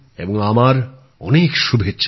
আমার অনেক শুভেচ্ছা রইল